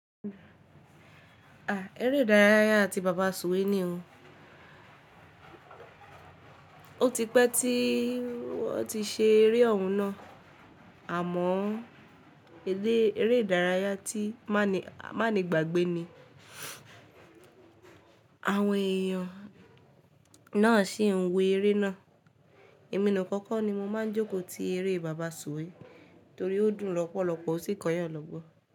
À, eré ìdárayá ti bàbá sùwé ni o. O ti pẹ́ tí wọ́n ti ṣe eré ọ̀hún náà, àmọ́ eré ìdárayá tí má ni gbàgbé ni. Àwọn èèyàn náà sì ń wo eré náà. Èmi nìkan kọ́ ni mo máa ń jókòó ti eré bàbá sùwé torí ó dùn lọ́pọ̀lọpọ̀ ó sì kọ yàn lọ́gbọ́n.